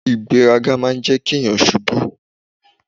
Ìgbéraga máa jẹ́ kí o ṣubú.!